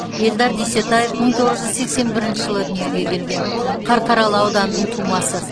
эльдар дүйсетаев мың тоғыз жүз сексен бірінші жылы дүниеге келген қарқаралы ауданының тумасы